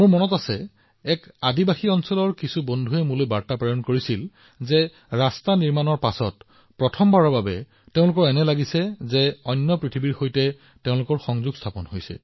মোৰ মনত আছে যে এটা জনজাতীয় অঞ্চলৰ কিছুমান সহকৰ্মীয়ে মোলৈ এটা বাৰ্তা প্ৰেৰণ কৰিছিল যে ৰাস্তাটো নিৰ্মাণ হোৱাৰ পিছত প্ৰথমবাৰৰ বাবে তেওঁলোকে অনুভৱ কৰিছিল যে তেওঁলোকেও পৃথিৱীৰ অন্য প্ৰান্তৰ সৈতে সংযোজিত হৈথে